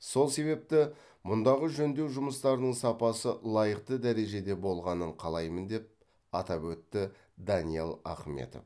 сол себепті мұндағы жөндеу жұмыстарының сапасы лайықты дәрежеде болғанын қалаймын деп атап өтті даниал ахметов